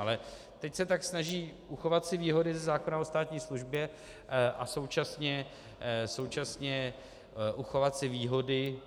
Ale teď se tak snaží uchovat si výhody ze zákona o státní službě a současně uchovat si výhody